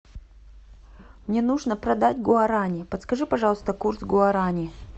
мне нужно продать гуарани подскажи пожалуйста курс гуарани